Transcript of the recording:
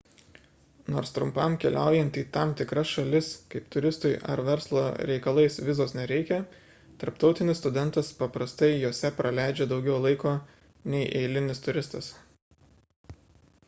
nors trumpam keliaujant į tam tikras šalis kaip turistui ar verslo reikalais vizos nereikia tarptautinis studentas paprastai jose praleidžia daugiau laiko nei eilinis turistas